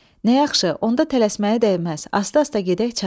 Nə yaxşı, onda tələsməyə dəyməz, asta-asta gedək çatarıq.